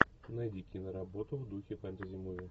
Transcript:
найди киноработу в духе фэнтези муви